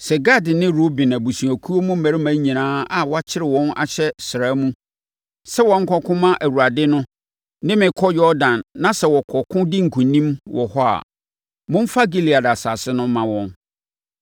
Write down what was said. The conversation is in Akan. “Sɛ Gad ne Ruben abusuakuo mu mmarima nyinaa a wɔakyere wɔn ahyɛ sraa mu sɛ wɔnkɔko mma Awurade no ne me kɔ Yordan na sɛ wɔkɔko di nkonim wɔ hɔ a, momfa Gilead asase no mma wɔn;